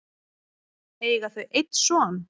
eiga þau einn son.